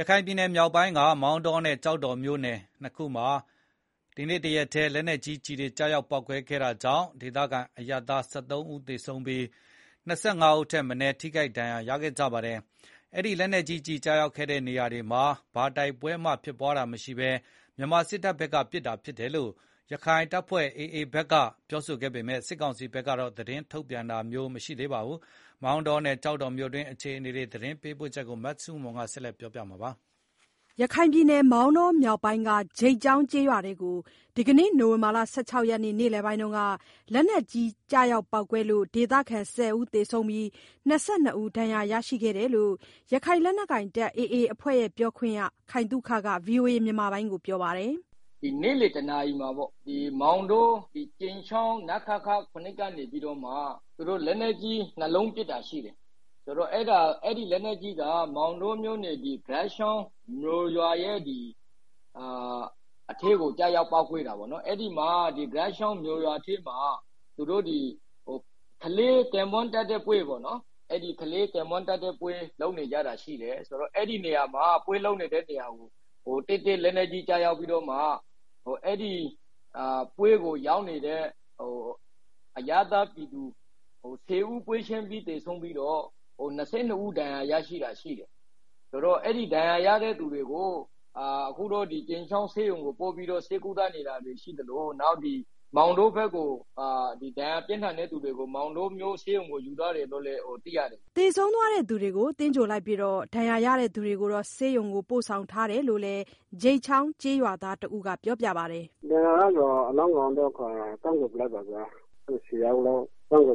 ရခိုင်ပြည်နယ်မြောက်ပိုင်းက မောင်တောနဲ့ ကျောက်တော်မြို့နယ် ၂ ခုမှာ ဒီနေ့ တရက်တည်း လက်နက်ကြီးကျည်တွေ ကျရာက်ပေါက်ကွဲခဲ့တာကြောင့် ဒေသခံ အရပ်သား ၁၃ ဦးသေဆုံးပြီး ၂၅ ဦးထက်မနည်း ထိခိုက်ဒဏ်ရာ ရခဲ့ကြပါတယ်။ အဲဒီလက်နက်ကြီးကျည်ကျရောက်ခဲ့တဲ့နေရာတွေမှာ ဘာတိုက်ပွဲမှဖြစ်ပွားတာမရှိဘဲ မြန်မာစစ်တပ်ဘက်ကပစ်တာဖြစ်တယ်လို့ ရခိုင်လက်နက်ကိုင် AA ဘက်က ပြောဆိုပေမဲ့ စစ်ကောင်စီဘက်က ငြင်းဆန်ပါတယ်။ မောင်တောနဲ့ ကျောက်တော်မြို့အတွင်း အခြေအနေ သတင်းပေးပို့ချက်ကို မဆုမွန်က တင်ပြပေးထားပါတယ်။ ရခိုင်ပြည်နယ် မောင်တော မြောက်ပိုင်းက ဂြိတ်ချောင်းကျေးရွာအတွင်းကို ဒီကနေ့ နိုဝင်ဘာလ ၁၆ ရက်နေ့ နေလည်ပိုင်းက လက်နက်ကြီး ကျရောက်ပေါက်ကွဲပြီးတော့ ဒေသခံ ၁၀ ဦး သေဆုံးပြီး ၂၂ ဦး ဒဏ်ရာရရှိခဲ့တယ်လို့ ရခိုင် လက်နက်ကိုင် AA အဖွဲ့ပြောခွင့်ရ ခိုင်သုခက ဗွီအိုအေကို ပြောပါတယ်။ “မောင်တော ကြိမ်ချောင်း နခခ ၇ ကနေပြီးတော့ လက်နက်ကြီး ၂ လုံးပစ်တာရှိတယ်။ အဲဒီလက်နက်ကြီးက ဂြိတ်ချောင်းကျေးရွာက ကလေးကင်းပွန်းတပ်တဲ့ပွဲပေါ့နော်။ အဲဒီ ပွဲလုပ်နေတဲ့ နေရာတည့်တည့်ကို လက်နက်ကြီး ကျရောက်ပြီးတော့မှ အဲဒီပွဲကိုရောက်နေတဲ့ အရပ်သားပြည်သူ ၁၀ ဦးပွဲချင်းပြီး သေဆုံးပြီးတော့ ၂၂ ဦး ဒဏ်ရာရသွားတာရှိတယ်။ ဒဏ်ရာရတဲ့သူတွေကိုတော့ ကြိမ်းချောင်းဆေးရုံကိုပို့ထားပြီး ဒဏ်ရာပြင်းတဲ့သူတွေကို မောင်တောဆေးရုံကို ယူသွားတယ်လို့ သိရတယ်ဗျာ။” သေဆုံးသွားသူတွေကို သင်္ဂြိုဟ် လိုက်ပြီး ဒဏ်ရာရသူတွေကို ဆေးရုံကို ပို့ဆောင် ထားတယ်လို့လည်း ဂြိတ်ချောင်းကျေးရွာသားတဦးက ပြောပါတယ်။ အလောင်းတွေကိုတော့ သင်္ဂြိုဟ် လိုက်ပါပြီ ၁၀ လောင်း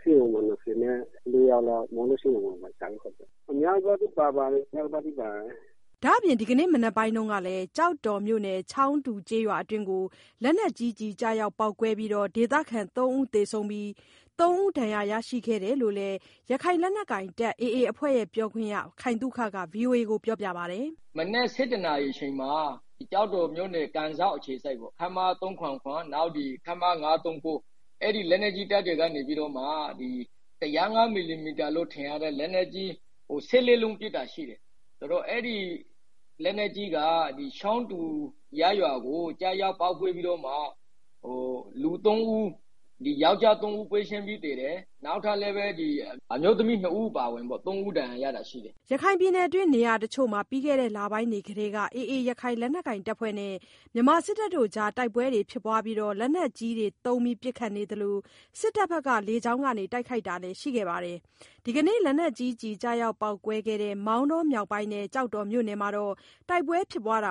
ရှိတယ်။ ဒဏ်ရာရတဲ့ သူတွေကိုတော့ ဆေးရုံကို ပို့ထားတယ်။ ဒဏ်ရာပြင်းထန်သူတွေလည်းပါတယ်။” ဒါ့အပြင် ဒီနေ့မနက်ပိုင်းကလည်း ကျောက်တော်မြို့နယ် ချောင်းတူ ကျေးရွာအတွင်းကို လက်နက်ကြီးကျည်ကျရောက်ပေါက်ကွဲပြီးတော့ ဒေသခံ ၃ ဦးသေဆုံးပြီး သုံးဦးဒဏ်ရာ ရရှိခဲ့တယ်လို့လည်း ရခိုင်လက်နက်ကိုင် AA အဖွဲ့ပြောခွင့်ရ ခိုင်သုခက ဗွီအိုအေ ကို ပြောပါတယ်။ “ဒီနေ့မနက် ၁၁ နာရီအချိန်မှာ ကျောက်တော်၊ ကန်စောက်အခြေစိုက် ခမရ ၃၇၇၊ နောက် ခမရ ၅၃၉ အဲဒီလက်နက်ကြီးတပ်တွေက ၁၀၅ မီလီမီတာလို့ထင်ရတဲ့ လက်နက်ကြီး ၁၄ လုံး ပစ်တာရှိတယ်၊ အဲဒီလက်နက်ကြီးက ချောင်းတူ ကျေး ရွာကိုကျပြီးတော့ ယောက်ကျား ၃ ဦး ပွဲချင်းပြီးသေတယ်။ အမျိုးသမီး၂ ဦး အပါအဝင် ၃ ဦးဒဏ်ရာရတာရှိတယ်။” ရခိုင်ပြည်နယ်အတွင်း နေရာတချို့မှာ ပြီးခဲ့တဲ့ လပိုင်းတွေကတည်းက AA ရခိုင် လက်နက်ကိုင် အဖွဲ့နဲ့ မြန်မာစစ်တပ်အကြား တိုက်ပွဲတွေဖြစ်ပွားပြီး လက်နက်ကြီးတွေသုံး ပစ်ခတ်နေသလို စစ်တပ်ဘက်က လေကြောင်းက တိုက်ခိုက်တာတွေလည်း ရှိခဲ့ပါတယ်။ ဒီကနေ့ လက်နက်ကြီးကျည်ကျရောက်ပေါက်ကွဲခဲ့တဲ့ မောင်တောမြောက်ပိုင်းနဲ့ ကျောက်တော်မြို့နယ်မှာတော့ တိုက်ပွဲ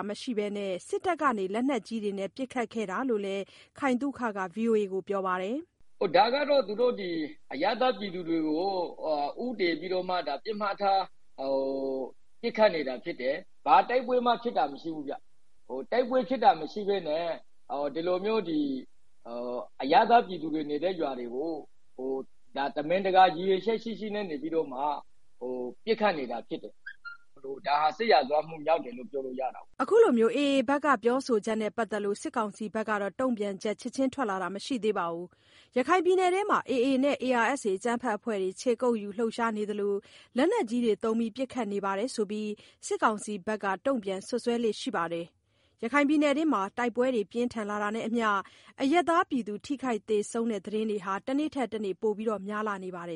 မရှိဘဲ စစ်တပ်က လက်နက်ကြီးတွေနဲ့ ပစ်ခတ်ခဲ့တာဖြစ်တယ်လို့လည်း ခိုင်သုခက ဗွီအိုအေကိုပြောပါတယ်။ “ ဒီဟာက အရပ်သားပြည်သူတွေကို ဦးတည်ပြီးတော့ တိုက်ခိုက်နေတာ ဖြစ်တယ်။ ဘာတိုက်ပွဲမှ ဖြစ်တာမရှိဘူးဗျ။ တိုက်ပွဲနဲ့မပတ်သက်တဲ့ အရပ်သားပြည်သူတွေနေတဲ့ရွာတွေကို ရည်ရွယ်ချက်ရှိရှိပစ်ခတ်နေတာဖြစ်တဲ့အတွက် ဒါ စစ်ရာဇဝတ်မှုမြောက်တယ်လို့ပြောလို့ရပါတယ်။” AA ဘက်က ပြောဆိုချက်နဲ့ပတ်သက်လို့ စစ်ကောင်စီဘက်က တုံ့ပြန်ချက် ချက်ခြင်း ထွက်လာတာ မရှိသေးပါဘူး။ ရခိုင်ပြည်နယ်အတွင်းမှာ AA နဲ့ ARSA အကြမ်းဖက် အဖွဲ့တွေ ခြေကုတ်ယူလှုပ်ရှားနေသလို လက်နက်ကြီးတွေသုံး ပစ်ခတ်နေတယ် ဆိုပြီး စစ်ကောင်စီဘက်က တုံ့ပြန် စွပ်စွဲလေ့ရှိပါတယ်။ တိုက်ပွဲတွေ ပြင်းထန်လာတာနဲ့အမျှ ရခိုင်ပြည်နယ်အတွင်း အရပ်သား ထိခိုက်သေဆုံးတဲ့ သတင်းတွေ တနေ့ထက်တနေ့ ပိုများလာနေ ပါတယ်